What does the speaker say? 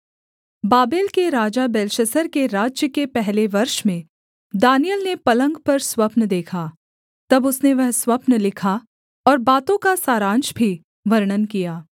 Babel के राजा Belshazzar के राज्य के पहले वर्ष में दानिय्येल ने पलंग पर स्वप्न देखा तब उसने वह स्वप्न लिखा और बातों का सारांश भी वर्णन किया